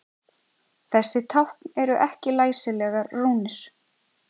Þessi tákn eru ekki læsilegar rúnir.